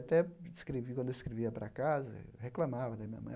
Até escrevi quando eu escrevia para casa, eu reclamava da minha mãe.